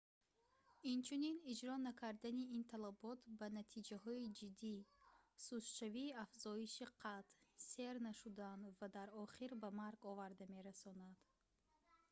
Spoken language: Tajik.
инчунин иҷро накардани ин талабот ба натиҷаҳои ҷиддӣ сустшавии афзоиши қад сер нашудан ва дар охир ба марг оварда мерасонад